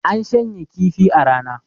an shanya kifi a Rana